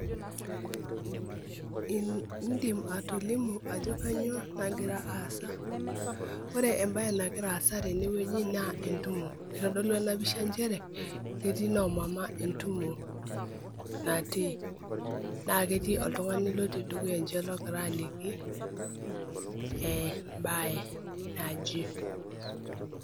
Idim atolimu ajo kanyioo nagira aasa. Ore ebae nagira aasa tenewueji, naa entumo. Kitodolu enapisha njere, ketii noomama entumo natii. Na ketii oltung'ani lotii dukuya enche logira aliki, ebae naje.